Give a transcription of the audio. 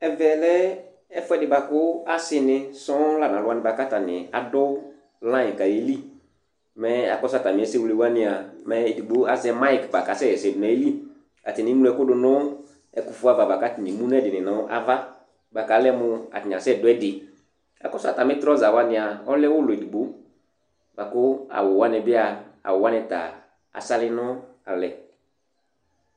Ɛvɛ lɛ ɛfʋɛdɩ bʋa kʋ asɩnɩ sɔŋ la nʋ alʋ wanɩ bʋa kʋ atanɩ adʋ layɩn kʋ ayeli, mɛ akɔsʋ atamɩ ɛsɛwle wanɩ a, mɛ edigbo azɛ mayɩk bʋa kʋ asɛɣa ɛsɛ dʋ nʋ ayili Atanɩ eŋlo ɛkʋ dʋ nʋ ɛfʋ ava kʋ atanɩ emu nʋ ɛdɩnɩ nʋ ava bʋa kʋ alɛ mʋ atanɩ asɛdʋ ɛdɩ kʋ akɔsʋ atamɩ trɔza wanɩ a, ɔlɛ ʋlɔ edigbo la kʋ awʋ wanɩ bɩ a, awʋ wanɩ ta asalɩ nʋ alɛ